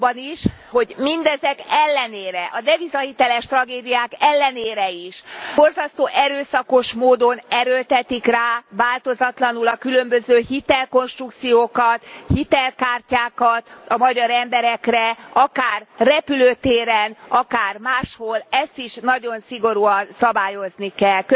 abban is, hogy mindezek ellenére, a devizahiteles tragédiák ellenére is, borzasztó erőszakos módon erőltetik rá változatlanul a különböző hitelkonstrukciókat, hitelkártyákat a magyar emberekre akár repülőtéren, akár máshol, ezt is nagyon szigorúan szabályozni kell.